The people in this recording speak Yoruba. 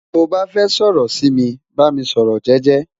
to ba fẹ sọrọ si mi, ba mi sọrọ jẹjẹ